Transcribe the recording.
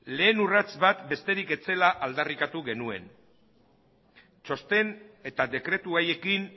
lehen urrats bat besterik ez zela aldarrikatu genuen txosten eta dekretu haiekin